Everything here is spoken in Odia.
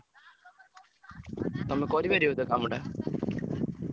ତମେ କରିପାରିବ ତ କାମ ଟା?